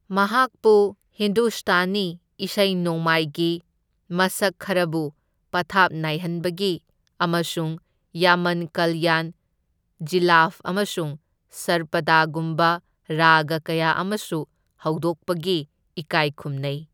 ꯃꯍꯥꯛꯄꯨ ꯍꯤꯟꯗꯨꯁꯇꯥꯅꯤ ꯏꯁꯩ ꯅꯣꯡꯃꯥꯏꯒꯤ ꯃꯁꯛ ꯈꯔꯕꯨ ꯄꯊꯥꯞ ꯅꯥꯏꯍꯟꯕꯒꯤ ꯑꯃꯁꯨꯡ ꯌꯥꯃꯟ ꯀꯜꯌꯥꯟ, ꯖꯤꯂꯥꯐ ꯑꯃꯁꯨꯡ ꯁꯔꯄꯥꯗꯒꯨꯝꯕ ꯔꯥꯒ ꯀꯌꯥ ꯑꯃꯁꯨ ꯍꯧꯗꯣꯛꯄꯒꯤ ꯏꯀꯥꯏꯈꯨꯝꯅꯩ꯫